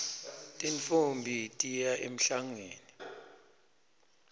tintfombi tiya emhlangeni